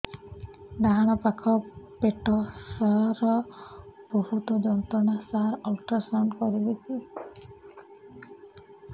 ଡାହାଣ ପାଖ ପେଟ ସାର ବହୁତ ଯନ୍ତ୍ରଣା ସାର ଅଲଟ୍ରାସାଉଣ୍ଡ କରିବି କି